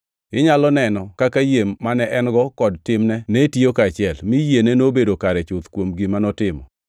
Inyalo neno kaka yie mane en-go kod timne ne tiyo kaachiel, mi yiene nobedo kare chuth kuom gima notimo.